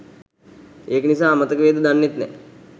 ඒක නිසා අමතක වේද දන්නෙත් නෑ